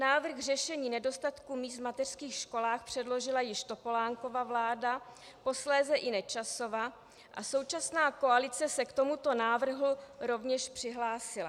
Návrh řešen nedostatku míst v mateřských školách předložila již Topolánkova vláda, posléze i Nečasova a současná koalice se k tomuto návrhu rovněž přihlásila.